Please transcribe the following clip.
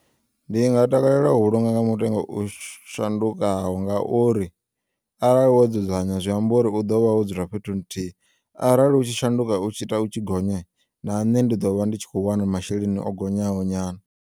Ndi nga takalela u vhulunga nga mutengo u shandukaho ngauri, arali wo dzudzanywa zwiambori u ḓovha wo dzula fhethu nthihi arali u tshi shanduka u tshi ita u tshi gonya, na nṋe ndi ḓovha ndi tshikho u wana masheleni o gonyaho nyana.